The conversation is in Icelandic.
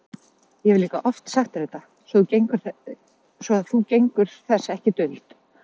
Ég hefi líka oft sagt þér þetta, svo að þú gengur þess ekki duld.